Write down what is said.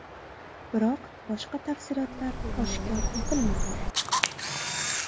Biroq boshqa tafsilotlar oshkor etilmadi.